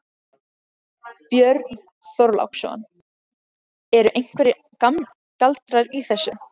Björn Þorláksson: Eru einhverjir galdrar í þessu?